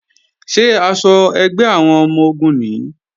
Ṣé aṣọ ẹgbẹ́ àwọn ọmọ-ogun nìí?